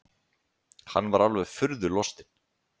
Hann var alveg furðu lostinn.